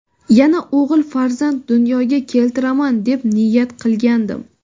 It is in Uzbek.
yana o‘g‘il farzand dunyoga keltiraman deb niyat qilgandim.